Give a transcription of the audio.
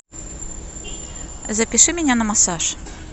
запиши меня на массаж